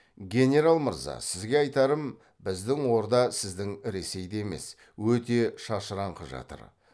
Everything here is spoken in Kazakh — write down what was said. генерал мырза сізге айтарым біздің орда сіздің ресейдей емес өте шашыраңқы жатыр